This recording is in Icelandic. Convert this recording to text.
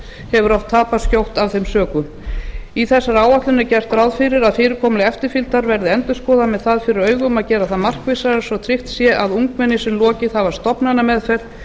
hefur oft tapast skjótt af þeim sökum í þessari áætlun er gert ráð fyrir að fyrirkomulag eftirfylgdar verði endurskoðað með það fyrir augum að gera það markvissara svo tryggt sé að ungmenni sem lokið hafa stofnanameðferð